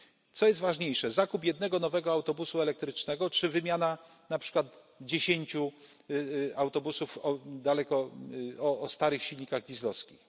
Co jest ważniejsze zakup jednego nowego autobusu elektrycznego czy wymiana na przykład dziesięciu autobusów o starych silnikach dieslowskich?